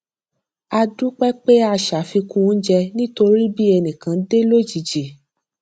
a dúpé pé a se àfikún oúnjẹ nítorí bí ẹnì kan dé lójijì